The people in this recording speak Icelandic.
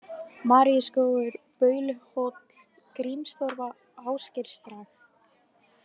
Maríuskógur, Bauluhóll, Grímstorfa, Ásgeirsdrag